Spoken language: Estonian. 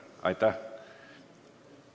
Aitäh!